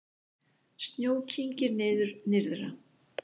Snjó kyngir niður nyrðra